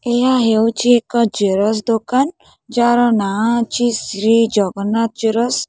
ଏହା ହେଉଚି ଏକ ଜେରସ୍ ଦୋକାନ ଯାହାର ନାଆଁ ଅଛି ଶ୍ରୀ ଜଗନ୍ନାଥ ଜେରସ୍ ।